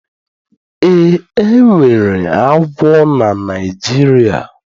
Ee, enwere agwọ na Naijiria